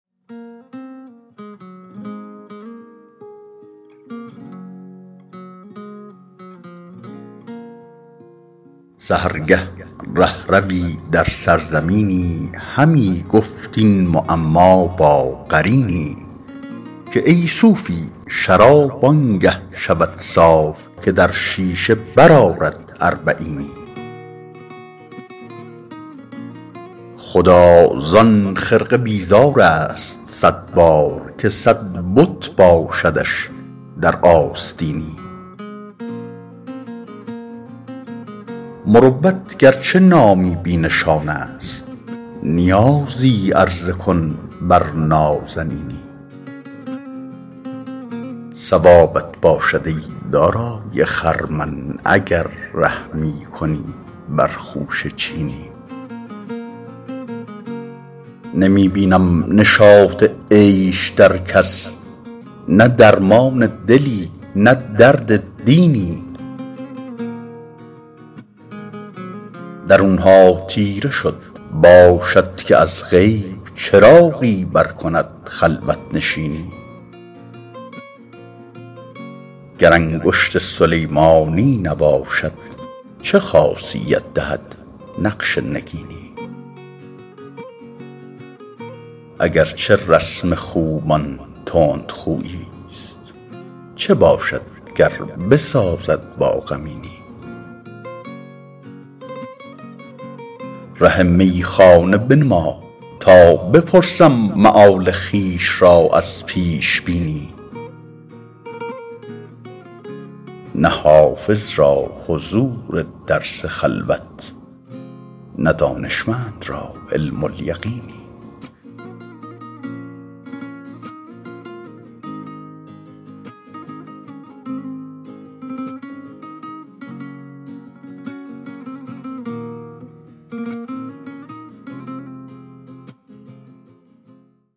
سحرگه ره ‎روی در سرزمینی همی گفت این معما با قرینی که ای صوفی شراب آن گه شود صاف که در شیشه برآرد اربعینی خدا زان خرقه بیزار است صد بار که صد بت باشدش در آستینی مروت گر چه نامی بی نشان است نیازی عرضه کن بر نازنینی ثوابت باشد ای دارای خرمن اگر رحمی کنی بر خوشه چینی نمی بینم نشاط عیش در کس نه درمان دلی نه درد دینی درون ها تیره شد باشد که از غیب چراغی برکند خلوت نشینی گر انگشت سلیمانی نباشد چه خاصیت دهد نقش نگینی اگر چه رسم خوبان تندخویی ست چه باشد گر بسازد با غمینی ره میخانه بنما تا بپرسم مآل خویش را از پیش بینی نه حافظ را حضور درس خلوت نه دانشمند را علم الیقینی